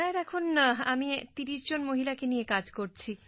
সির এখন আমি ৩০ জন মহিলাকে নিয়ে কাজ করছি